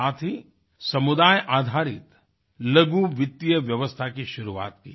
साथ ही समुदाय आधारित लघु वित्तीय व्यवस्था की शुरुआत की